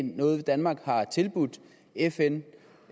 noget danmark har tilbudt fn